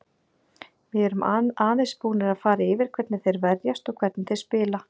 Við erum aðeins búnir að fara yfir hvernig þeir verjast og hvernig þeir spila.